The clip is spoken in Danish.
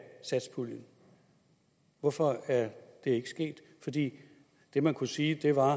satspuljen hvorfor er det ikke sket det det man kunne sige var